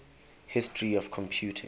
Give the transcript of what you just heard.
history of computing